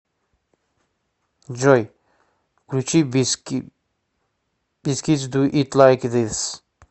джой включи бискитс ду ит лайк зис